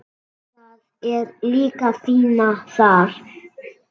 Það er líka fínna þar.